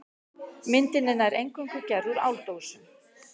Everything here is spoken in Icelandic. Myndin er nær eingöngu gerð úr áldósum.